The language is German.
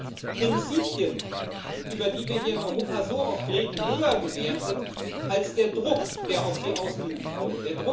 Sie haben Prinzipien, über die wir hier in Europa so oft reden, höher gewertet als den Druck, der auf Sie ausgeübt wurde.